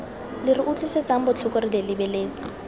re utlwisang botlhoko re lebeletse